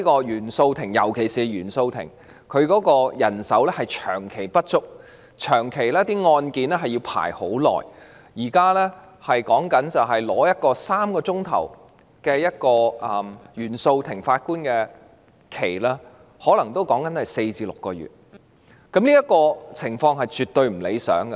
尤其是原訟法庭長期人手不足，案件排期很久，例如現在要向一位法官申請3小時的排期，可能要等候4至6個月，這個情況絕對不理想。